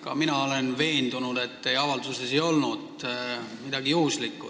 Ka mina olen veendunud, et teie avalduses ei olnud midagi juhuslikku.